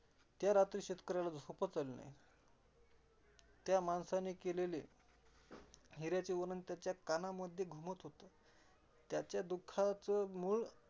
त्यारात्री शेतकऱ्याला झोपच आली नाही. त्या माणसाने केलेले हिऱ्याचे वर्णन त्याच्या कानामध्ये घुमत होत. त्याच्या दुःखाचे मुळ